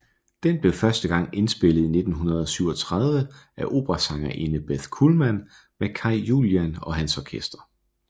Den blev første gang indspillet i 1937 af operasangerinde Beth Kullman med Kai Julian og hans orkester